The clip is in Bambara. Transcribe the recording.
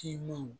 Kilima